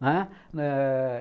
né?